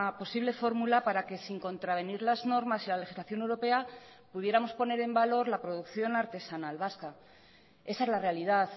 posible fórmula para que sin contravenir las normas y la legislación europea pudiéramos poner en valor la producción artesanal vasca esa es la realidad